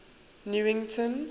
newington